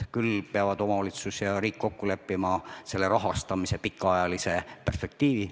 Küll aga peavad omavalitsus ja riik kokku leppima rahastamise pikaajalise perspektiivi.